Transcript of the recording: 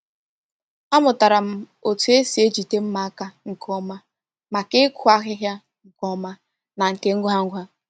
Amụtara m otu esi ejide mma aka nke ọma maka ịkụ ahịhịa nke ọma na nke ngwa ngwa.